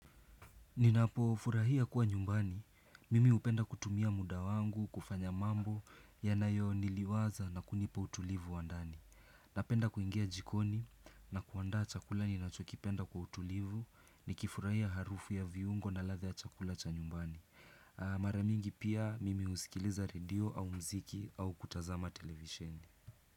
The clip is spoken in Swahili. Ninapofurahia kuwa nyumbani, mimi hupenda kutumia muda wangu, kufanya mambo, yanayoniliwaza na kunipa utulivu wa ndani Napenda kuingia jikoni na kuanda chakula ninachokipenda kwa utulivu, nikifurahia harufu ya viungo na ladha ya chakula cha nyumbani Maramingi pia mimi husikiliza radio au mziki au kutazama televishei.